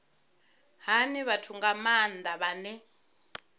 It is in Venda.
hani vhathu nga maanda vhane